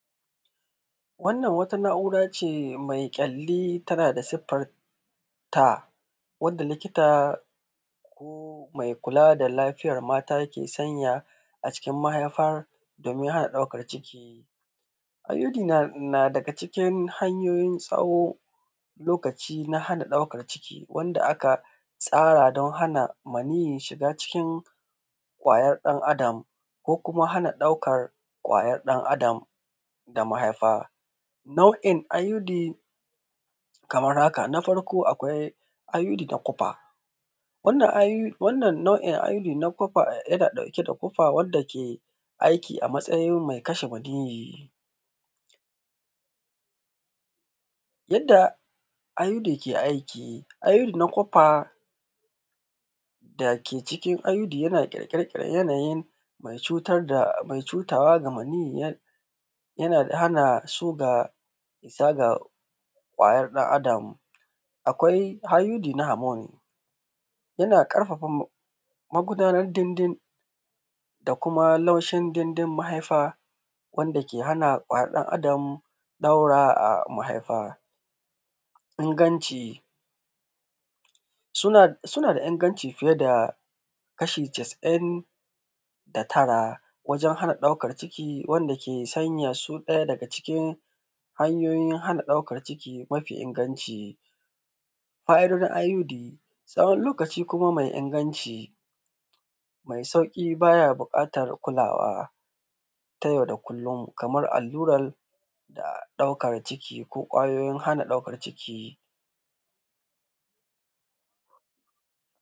Wannan wata na’uracee mai ƙyalli tana da siffarta, wanda lɪkita ko mai kula da lafiyar mata yake sanya a cikin mahaifar, domin hana ɗaukar ciki. IUD na daga cikin hanyoyin tsawo lokaci na hana ɗaukan ciki, wanda aka tsara don hana maniyyi shiga cikin ƙwayar ɗan’Adam ko kuma hana ɗaukar ƙwayar ɗan’Adam da mahaifa. Na’u’in IUD Na farko, akwai IUD ta kwafa. Wannan na’in IUD na kwafa yana ɗauke da kwafa, wanda ke aiki a matsayin mai kashe maniyyi. Yadda IUD ke aiki IUD na kwafa da ke cikin IUD yana ƙyalƙyal yanayi mai cutarwa da maniyyi, yana hana su gaza ga ƙwayan ɗan’Adam. Akwai IUD na hamoni, yana ƙarfafa magudanar ɗin-ɗin da kuma laushin ɗin-ɗin mahaifa, wanda ke hana ƙwayar ɗan’Adam ɗaure mahaifa inganci. Suna da inganci fiye da kashi casa’in da tara (99%) wajen hana ɗaukan ciki, wanda ke sanya su ɗaya daga cikin hanyoyin hana ɗaukar ciki mafi inganci. Fa’idodin IUD • Tsawon lokaci kuma mai inganci Mai sauƙi, baya buƙatar kulawa ta yau da kullum kamar allurar ɗaukan ciki ko ƙwayoyin hana ɗaukan ciki.